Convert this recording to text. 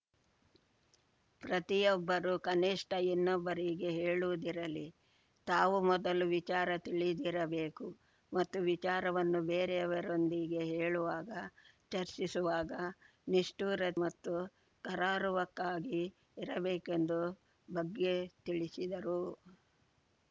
ಪ್ರತಿಯೊಬ್ಬರೂ ಕನಿಷ್ಠ ಇನ್ನೊಬ್ಬರಿಗೆ ಹೇಳುವುದಿರಲಿ ತಾವು ಮೊದಲು ವಿಚಾರ ತಿಳಿದಿರಬೇಕು ಮತ್ತು ವಿಚಾರವನ್ನು ಬೇರೆಯವರೊಂದಿಗೆ ಹೇಳುವಾಗ ಚರ್ಚಿಸುವಾಗ ನಿಷ್ಠೂರೆ ಮತ್ತು ಕರಾರುವಕ್ಕಾಗಿ ಇರಬೇಕೆಂದು ಬಗ್ಗೆ ತಿಳಿಸಿದರು